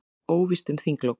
Óvíst um þinglok